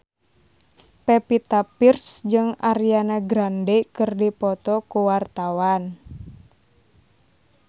Pevita Pearce jeung Ariana Grande keur dipoto ku wartawan